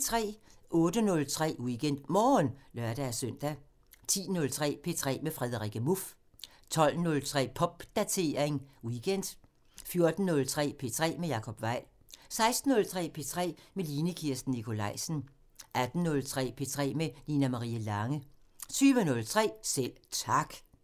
08:03: WeekendMorgen (lør-søn) 10:03: P3 med Frederikke Muff 12:03: Popdatering weekend 14:03: P3 med Jacob Weil 16:03: P3 med Line Kirsten Nikolajsen 18:03: P3 med Nina Marie Lange 20:03: Selv Tak